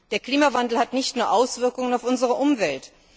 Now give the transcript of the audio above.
Der Klimawandel hat nicht nur Auswirkungen auf unsere Umwelt.